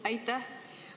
Aitäh!